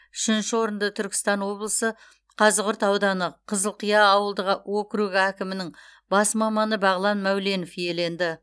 үшінші орынды түркістан облысы қазығұрт ауданы қызылқия ауылдық округі әкімінің бас маманы бағлан мәуленов иеленді